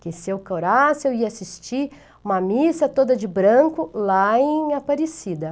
Porque se eu curasse, eu ia assistir uma missa toda de branco lá em Aparecida.